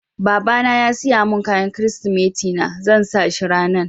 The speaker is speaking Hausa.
Baba na ya siya mun kayan kiristimeti na, zan sa shi ranan.